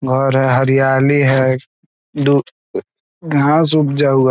घर है हरियाली है दु घास उगजा हुआ --